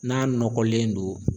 N'a nɔgɔlen don